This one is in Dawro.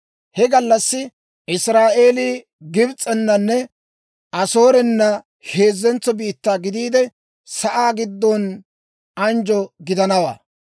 He gallassi Israa'eelii Gibs'enanne Asoorena heezzentso biittaa gidiide, sa'aa giddon anjjo gidanawaa.